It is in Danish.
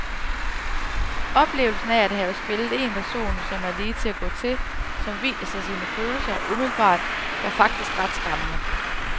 Oplevelsen af at have spillet en person, som er lige til at gå til, som viser sine følelser umiddelbart, var faktisk ret skræmmende.